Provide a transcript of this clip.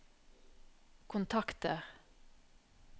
kontakter